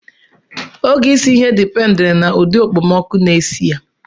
Oge isi ihe dipendiri na ụdị mkpemọkụ na-esi ya.